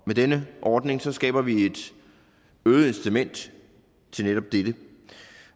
med denne ordning skaber vi et øget incitament til netop dette